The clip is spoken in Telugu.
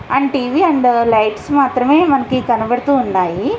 అండ్ టీవీ అండ్ లైట్స్ మాత్రమే మనకు కనబడుతూ ఉన్నాయి.